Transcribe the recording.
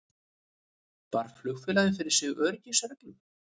Bar flugfélagið fyrir sig öryggisreglum